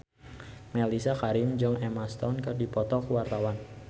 Mellisa Karim jeung Emma Stone keur dipoto ku wartawan